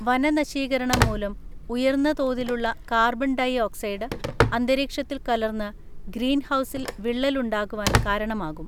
വന നശീകരണം മൂലം ഉയർന്നതോതിലുള്ള കാർബൺ ഡൈഓക്സൈഡ് അന്തരീക്ഷത്തിൽ കലർന്ന് ഗ്രീൻഹൗസിൽ വിള്ളൽ ഉണ്ടാകുവാൻ കാരണമാകും.